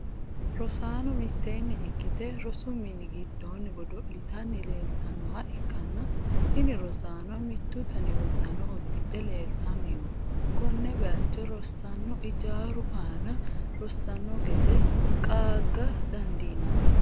rosaano mitteenni ikkite rosu mini giddoonni godo'litanni leeltannoha ikkanna, tini rosaanono mittu dani uddano uddidhe leeltanni no. konne bayiicho rosaano ijaaru aana rossano gede qaaga dandiinanni.